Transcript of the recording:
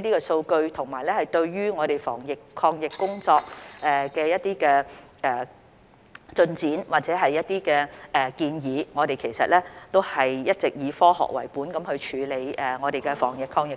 供的數據，以及對我們防疫抗疫工作的一些改善或建議，我們其實一直也以科學為本處理我們的防疫抗疫工作。